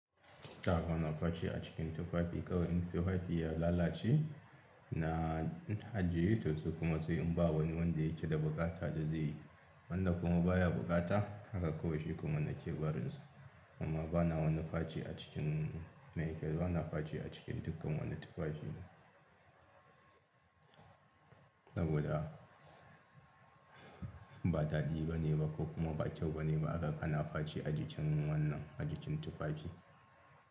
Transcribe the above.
Ba na faci a cikin tufafi kawai in tufafi ya lalace na na ajiye to sai kuma sai inba wani wanda yake da buƙata da zaiyi, wanda kuma baya buƙata, haka kuma nake barinsa amma bana wani faci a cikin maiyike bana faci a cikin dukkan wani tufafi. Saboda ba daɗi bane ba ko kuma ba kyau bane ba aga kana faci a jikin wannan a jikin tufafi.